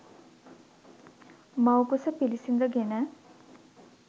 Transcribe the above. මව්කුස පිළිසිඳ ගෙන